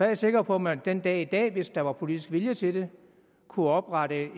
jeg sikker på at man den dag i dag hvis der var politisk vilje til det kunne oprette